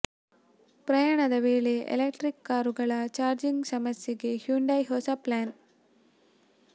ಪ್ರಯಾಣದ ವೇಳೆ ಎಲೆಕ್ಟ್ರಿಕ್ ಕಾರುಗಳ ಚಾರ್ಜಿಂಗ್ ಸಮಸ್ಯೆಗೆ ಹ್ಯುಂಡೈ ಹೊಸ ಪ್ಲ್ಯಾನ್